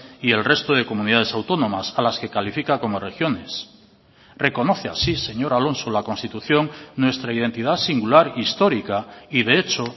y el resto de comunidades autónomas a las que califica como regiones reconoce así señor alonso la constitución nuestra identidad singular histórica y de hecho